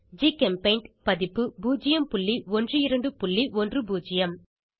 ஜிகெம்பெய்ண்ட் பதிப்பு 01210